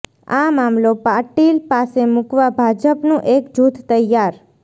આ મામલો પાટીલ પાસે મુકવા ભાજપનું એક જૂથ તૈયાર